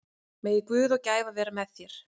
Megi Guð og gæfa vera með þér.